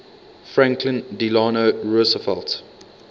franklin delano roosevelt